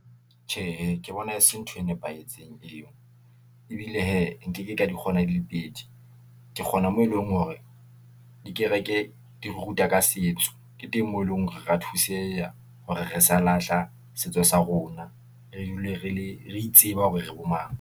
Tjhe, hee ke bona e se ntho e nepahetseng eo, ebile hee nkeke ka di kgona di le pedi, ke kgona mo eleng hore dikereke, di ruta ka setso ke teng moo eleng hore ra thuseha, hore re sa lahla setso sa rona, re dule re le, re itsebe hore re bo mang.